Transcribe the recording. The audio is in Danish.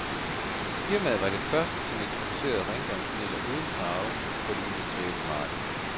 Firmaet var det første, som introducerede rengøringsmidler uden farve på det industrielle marked.